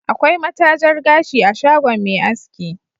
Akwai matajar gashi a shagon Me asaki